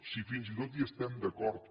si fins i tot hi estem d’acord